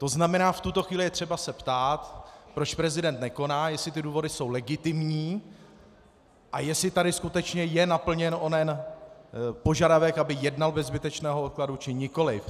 To znamená, v tuto chvíli je třeba se ptát, proč prezident nekoná, jestli ty důvody jsou legitimní a jestli tady skutečně je naplněn onen požadavek, aby jednal bez zbytečného odkladu, či nikoliv.